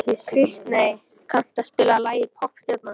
Kristey, kanntu að spila lagið „Poppstjarnan“?